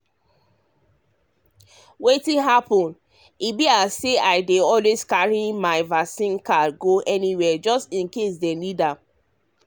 wetin happen um be say i dey um always carry my carry my vaccine card go anywhere just in case dem um ask.